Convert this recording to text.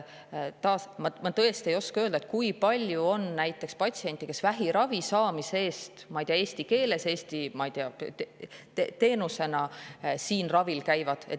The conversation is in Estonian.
Ma tõesti ei oska öelda, kui palju on näiteks patsiente, kes vähiravi teenust saavad, ma ei tea, eesti keeles Eestis.